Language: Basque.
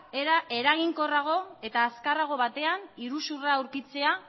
era eraginkorrago eta azkarrago batean iruzurra aurkitzea